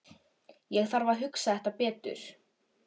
Ég þarf að hugsa þetta betur.